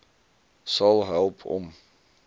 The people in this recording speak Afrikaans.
sal help om